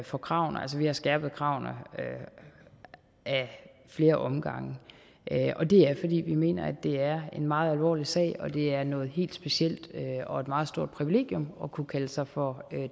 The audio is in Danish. for kravene altså vi har skærpet kravene ad flere omgange og det er fordi vi mener at det er en meget alvorlig sag og at det er noget helt specielt og et meget stort privilegium at kunne kalde sig for